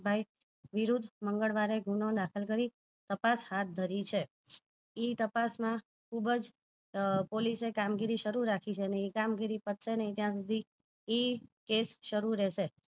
ભાઈ વિરુધ મંગળવારે ગુનો દાખલ કરી તપાસ હાથ ધરી છે એ તપાસ માં ખુબજ police એ કામગીરી શરુ રાખી છે એ કામગીરી પતશે નહિ ત્યાં સુધી એ કેસ શરુ રેહેશે